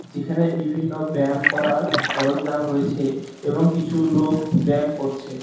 যেখানে বিভিন্ন ব্যায়াম করার সরঞ্জাম রয়েছে এবং কিছু লোক ব্যায়াম করছে।